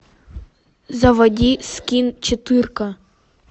заводи скин четыре ка